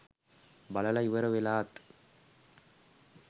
බලල ඉවර වෙලාත්